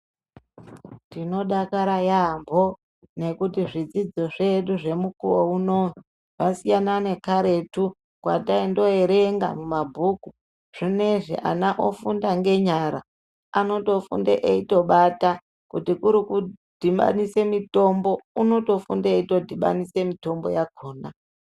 Tinodakara yaampho ,nekuti zvidzidzo zvedu zvemukuwo unowu , zvasiyana nekaretu kwataindoerenga mumabhuku. Zvinezvi ana ofunda ngenyara. Anotofunda eitobata. Kuti kuri kudhibanise mitombo, unotofunda eitodhibanise mitombo yakhona.